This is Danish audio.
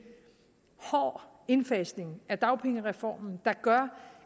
hård indfasning af dagpengereformen der gør